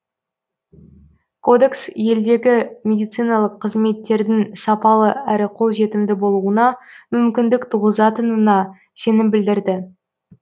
кодекс елдегі медициналық қызметтердің сапалы әрі қолжетімді болуына мүмкіндік туғызатынына сенім білдірді